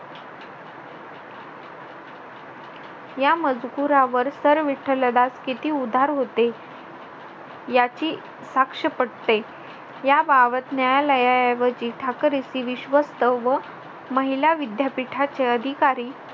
या मजकुरावर सर विठ्ठलदास किती उधार होते याची साक्ष पटते याबाबत न्यायालयाऐवजी ठाकरसी विश्वस्त व महिला विद्यापीठाचे अधिकारी